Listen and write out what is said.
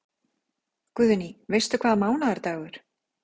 Guðný: Veistu hvaða mánaðardagur?